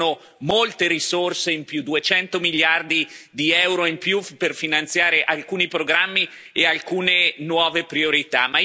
Si chiedono molte risorse in più, 200 miliardi di euro in più, per finanziare alcuni programmi e alcune nuove priorità.